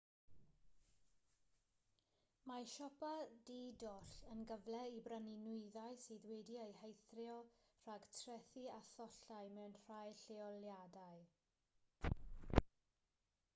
mae siopa di-doll yn gyfle i brynu nwyddau sydd wedi'u heithrio rhag trethi a thollau mewn rhai lleoliadau